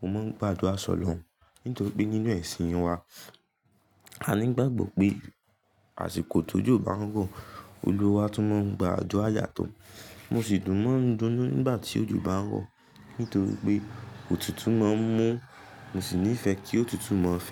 mo máa ń gbádùa sọlòùn. Nítorí pé nínú ẹ̀sìn wa, a ní ìgbàgbọ́ pé àsìkò tójò bá ń rọ, Olúwa tún máa ń gba àdúà yàtọ̀. Mo sì tùn mọ́ dunnú nígbà tí ojú bá ń rọ, nítorí pé òtútù máa ń mú, mo sì nífẹ̀ẹ́ kí òtútù máa fẹ́.